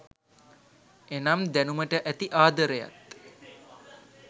එනම් දැනුමට ඇති ආදරයත්